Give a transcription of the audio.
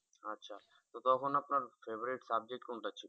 আচ্ছা তো তখন আপনার favorite subject কোনটা ছিল?